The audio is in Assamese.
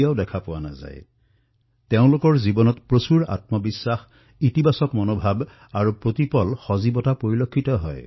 তেওঁলোকৰ জীৱনত জীৱনক লৈ দৃষ্টিভংগীত ভৰপূৰ আত্মবিশ্বাস ইতিবাচক চিন্তা আৰু প্ৰাণোচ্চল্লতা প্ৰতিপলে প্ৰদৰ্শিত হয়